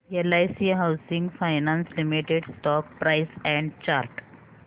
LIC housing finance limited stock price and chart